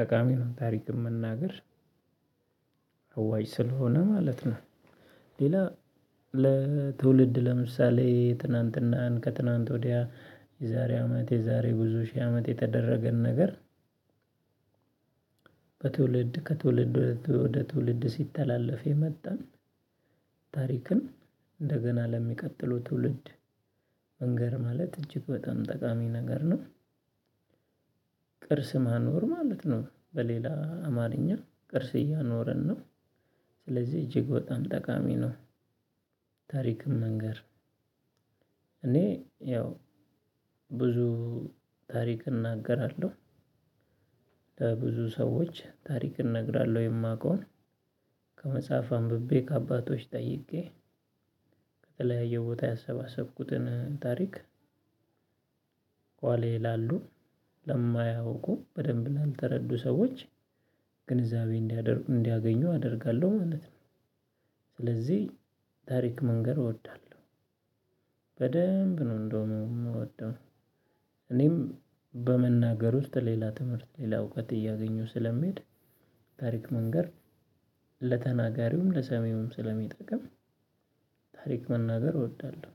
ጠቃሚ ነው ታሪክን መናገር። አዋጭ ስለሆነ ማለት ነው። ሌላ ለትውልድ ለምሳሌ ትናንትናን ከትናንት ወዲያ የዛሬ አመት የዛሬ ብዙ ሺህ አመት የተደረገን ነገር። ከትውልድ ከትውልድ ወደ ትውልድ ሲተላለፍ የመጣን ታሪክን እንደገና ለሚቀጥለው ትውልድ መንገር ማለት እጅግ በጣም ጠቃሚ ነገር ነው። ቅርስ ማኖር ማለት ነው በሌላ አማርኛ ቅርስ እያኖርን ነው። ስለዚህ እጅግ በጣም ጠቃሚ ነው። ታሪክን መንገር እኔ ያው ብዙ ታሪክ እናገራለሁ። ለብዙ ሰዎች ታሪክን እነግራለሁ የማውቀውን ከመጽሐፍ አንብቤ ከአባቶች ጠይቄ ከተለያየ ቦታ ያሰባሰብኩትን ታሪክ ከኋላየ ላሉ ለማያውቁ በደንብ ላልተረዱ ሰዎች ግንዛቤ እንዲያገኙ አደርጋለሁ ማለት ነው። ስለዚህ ታሪክ መንገር እወዳለሁ። በደንብ ነው እንደውም የምወደው እኔም በመናገር ውስጥ ሌላ ትምህርት ሌላ እውቀት እያገኘሁ ስለሚሄድ። ታሪክ መንገር ለተናጋሪውም ለሰሜውም ስለሚጠቅም። ታሪክ መናገር እወዳለሁ።